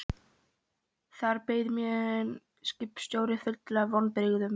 Þar beið mín skipstjóri fullur af vonbrigðum.